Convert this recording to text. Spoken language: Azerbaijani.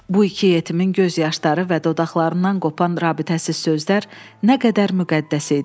Bu iki yetimin göz yaşları və dodaqlarından qopan rabitəsiz sözlər nə qədər müqəddəs idi.